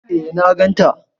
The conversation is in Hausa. Eh na gan ta